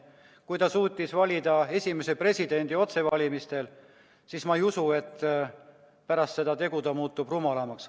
Kui ta suutis valida esimese presidendi otsevalimistel, siis ma ei usu, et pärast seda tegu ta muutus rumalamaks.